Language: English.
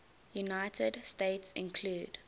united states include